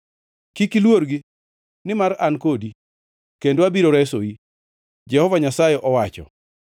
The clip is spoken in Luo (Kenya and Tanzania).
Kik iluorgi, nimar an kodi kendo abiro resoi,” Jehova Nyasaye owacho.